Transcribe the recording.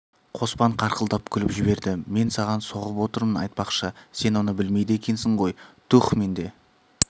қоспан қарқылдап күліп жіберді мен саған соғып отырмын айтпақшы сен оны білмейді екенсің ғой туһ менде